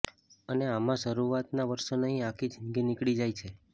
અને આમ શરૂઆતના વર્ષો નહીં આખી જિંદગી નીકળી જાય છે